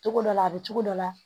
Togo dɔ la a be cogo dɔ la